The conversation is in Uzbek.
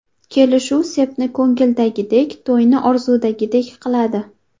Kelishuv sepni ko‘ngildagidek, to‘yni orzudagidek qiladi!